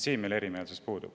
Siin meil erimeelsus puudub.